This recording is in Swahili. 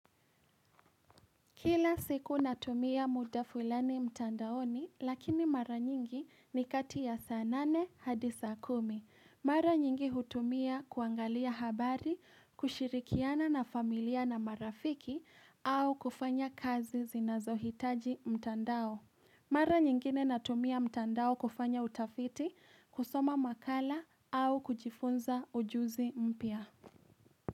Kila siku natumia muda fulani mtandaoni lakini mara nyingi ni kati ya saa nane hadi saa kumi. Mara nyingi hutumia kuangalia habari, kushirikiana na familia na marafiki au kufanya kazi zinazohitaji mtandao. Mara nyingine natumia mtandao kufanya utafiti, kusoma makala au kujifunza ujuzi mpya.